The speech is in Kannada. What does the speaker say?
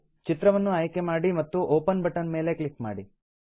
ಚಿತ್ರವನ್ನು ಆಯ್ಕೆ ಮಾಡಿ ಮತ್ತು ಒಪೆನ್ ಬಟನ್ ಮೇಲೆ ಕ್ಲಿಕ್ ಮಾಡಿ